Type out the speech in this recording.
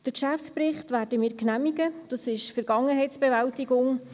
Den Geschäftsbericht werden wir genehmigen, das ist Vergangenheitsbewältigung.